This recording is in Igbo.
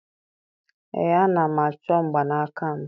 Ee, ana m achọ mgbanaka m